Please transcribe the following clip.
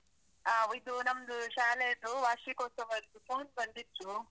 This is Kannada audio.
ಆ. ಇದು, ನಮ್ದು, ಶಾಲೆದು ವಾರ್ಷಿಕೋತ್ಸವದ್ದು phone ಬಂದಿತ್ತು.